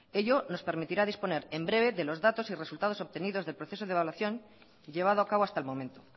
ello nos permitirá disponer en breve de los datos y resultados obtenidos del proceso de evaluación llevado a cabo hasta el momento